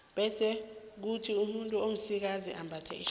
bese kuthi umuntu omsikazi ambathe irhabi